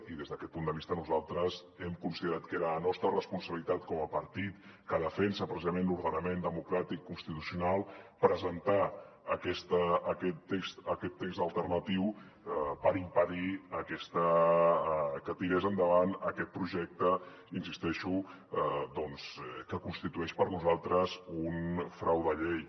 i des d’aquest punt de vista nosaltres hem considerat que era la nostra responsabilitat com a partit que defensa precisament l’ordenament democràtic constitucional presentar aquest text alternatiu per impedir que tirés endavant aquest projecte hi insisteixo que constitueix per nosaltres un frau de llei